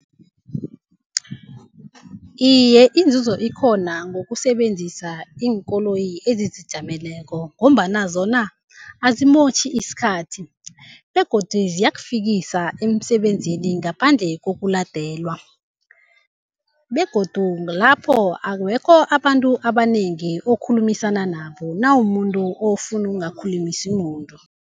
Iye, inzuzo ikhona ngokusebenzisa iinkoloyi ezizijameleko ngombana zona azimotjhi isikhathi begodu ziyakufikisa emsebenzini ngaphandle kokuladelwa. Begodu kulapho awekho abantu abanengi okhulumisana nabo nawumumuntu ofuna ukungakhulumisa muntu.